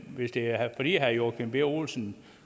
hvis det er fordi herre joachim b olsen